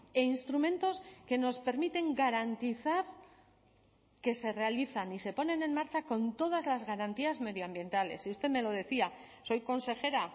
e instrumentos que nos permiten garantizar que se realizan y se ponen en marcha con todas las garantías medioambientales y usted me lo decía soy consejera